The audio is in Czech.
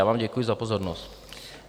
Já vám děkuji za pozornost.